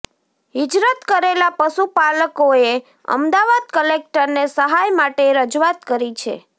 હિજરત કરેલા પશુપાલકોએ અમદાવાદ કલેક્ટરને સહાય માટે રજૂઆત કરી છે